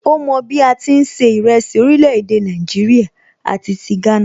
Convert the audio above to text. Ó mọ bí a ti ń se ìrẹsì orílè èdè Nàìjíríà àti ti Ghana